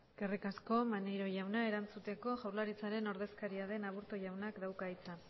eskerrik asko maneiro jauna erantzuteko jaurlaritzaren ordezkaria den aburto jaunak dauka hitza